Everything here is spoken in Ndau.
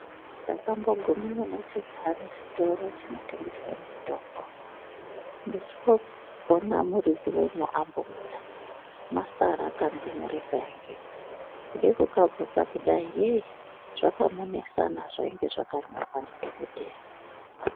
Takamboguma kune chintani chitoro chinotengesa mitombo. Ndichoona muridzi wemo ambobuda mwasara kandumure kaingemwo kuda kukavhunza kudai zvakamunesana zvainge zvakanyorwa nadhokodheya.